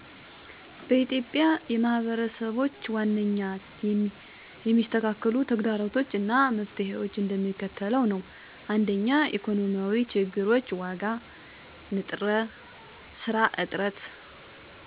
በኢትዮጵያ የማህበረሰብች ዋናኛ የሚስተካከሉ ተግደሮቶች አና መፍትሔዎች እንደሚከተለው ነዉ። 1 ኢኮኖሚያዊ ችግሮች ዋጋ፣ ንጥረ፣ ሰራ እጥረት። መፍትሔ፦ ትናንሽ ንግዳችን ማገዝ፣ የዕውቀትና ስራዎችን ማሳደግ። የትምህርት እጥረት የትምህርትቤቶች/መምህራን አለማብቃቱን፣ ዲጀታል ከፍተታ። መፍትሔ፦ የአካባቢ ትምህርትቤቶችን ማብቃት፣ የቴክኖሎጂ አስደሳች። የጤና አገልግሎት እጥረት የጤና ማእከሎች አለማብቃት፣ ንጽህና ዉኃ እጥረት። ማሀበራዊ አለመመጣጠን